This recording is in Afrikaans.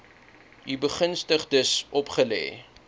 u begunstigdes opgelê